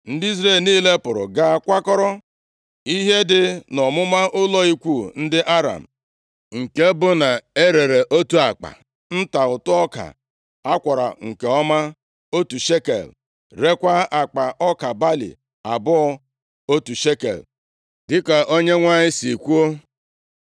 Ndị Izrel niile pụrụ gaa kwakọrọ ihe dị nʼọmụma ụlọ ikwu ndị Aram. Nke bụ na e rere otu akpa nta ụtụ ọka a kwọrọ nke ọma otu shekel, rekwaa akpa ọka balị abụọ otu shekel dịka Onyenwe anyị si kwuo.